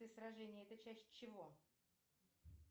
сражение это часть чего